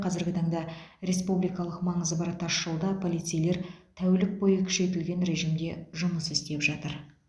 қазіргі таңда республикалық маңызы бар тасжолда полицейлер тәулік бойы күшейтілген режимде жұмыс істеп жатыр